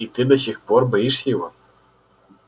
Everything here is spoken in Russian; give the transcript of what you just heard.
и ты до сих пор боишься его